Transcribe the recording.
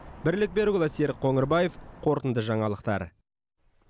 бірлік берікұлы серік қоңырбаев қорытынды жаңалықтар